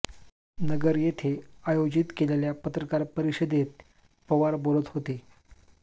नगर येथे आयोजित केलेल्या पत्रकार परिषदेत पवार बोलत होते